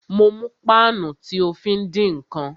Mo mú páànù tí o fí ń dín ǹkan